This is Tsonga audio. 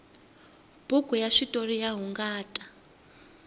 buku ya switoriya hungata